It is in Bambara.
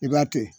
I b'a to yen